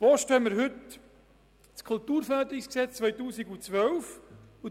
Damit kommen wir zur Abstimmung über das Traktandum 9: